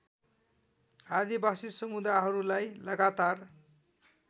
आदिवासी समुदाहरूलाई लगातार